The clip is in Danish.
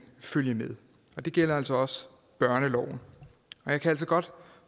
følge med det gælder altså også børneloven jeg kan godt